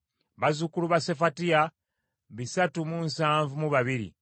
bazzukulu ba Sefatiya bisatu mu nsavu mu babiri (372),